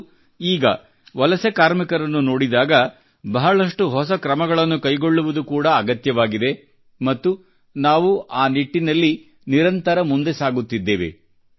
ಮತ್ತು ಈಗ ವಲಸೆ ಕಾರ್ಮಿಕರನ್ನು ನೋಡಿದಾಗ ಬಹಳಷ್ಟು ಹೊಸ ಕ್ರಮಗಳನ್ನು ಕೈಗೊಳ್ಳುವುದು ಕೂಡಾ ಅಗತ್ಯವಾಗಿದೆ ಮತ್ತು ನಾವು ಆ ನಿಟ್ಟಿನಲ್ಲಿ ನಿರಂತರ ಮುಂದೆ ಸಾಗುತ್ತಿದ್ದೇವೆ